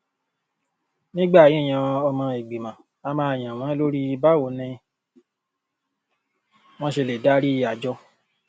nígbà yíyan ọmọ ìgbìmọ a máa yàn wọn lórí báwo ni wọn ṣe lè darí àjọ